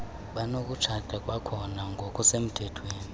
banokutshata kwakhona ngokusemthethweni